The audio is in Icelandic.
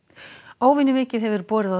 óvenju mikið hefur borið á